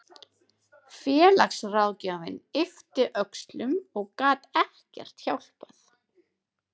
Félagsráðgjafinn yppti öxlum og gat ekkert hjálpað.